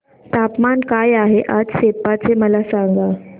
तापमान काय आहे आज सेप्पा चे मला सांगा